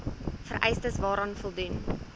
vereistes waaraan voldoen